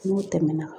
N'o tɛmɛna